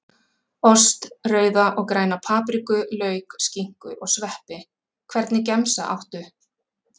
Ost, rauða og græna papriku, lauk, skinku og sveppi Hvernig gemsa áttu?